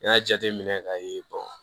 N'i y'a jateminɛ k'a ye